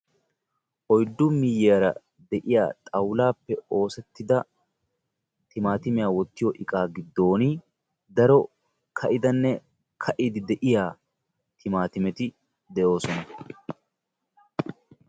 Oyiddu miyyiyara de"iya xawulaappe oosettida timaatimiya wottiyo iqaa giddon daro ka'idanne kaa'iiddi diya timaatimeti de'oosona.